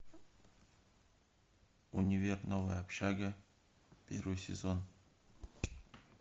универ новая общага первый сезон